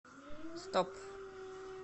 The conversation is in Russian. стоп